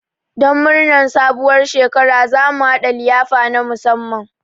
Don murnar sabuwar shekara, za mu haɗa liyafa na musamman.